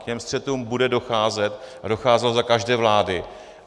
K těm střetům bude docházet a docházelo za každé vlády.